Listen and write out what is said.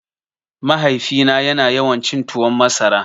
Mahaifina ya na yawan cin tuwon masara